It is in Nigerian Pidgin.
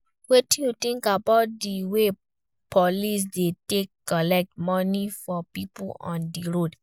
Wetin you think about di way police dey take collect money for people on di road?